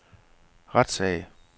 retssag